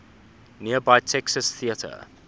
nearby texas theater